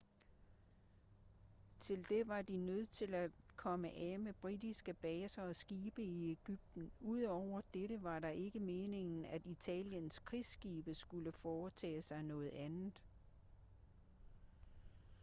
til det var de nødt til at komme af med britiske baser og skibe i ægypten udover dette var det ikke meningen at italiens krigsskibe skulle foretage sig noget andet